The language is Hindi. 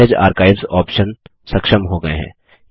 मेसेज आर्काइव्स ऑप्शन्स सक्षम हो गये हैं